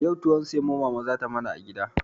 Yau tuwon samo mama za ta mana a gida.